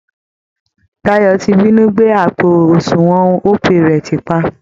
Dayọ ti binú gbé àpò àsunwọ̀n Opay rẹ̀ tìpa